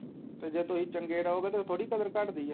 ਤੇ ਜੇ ਤੁਸੀਂ ਚੰਗੇ ਰਹੋਗੇ ਤਾਂ ਥੋੜੀ ਕਦਰ ਘੱਟਦੀ ਹੈ